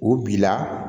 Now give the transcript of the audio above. O bi la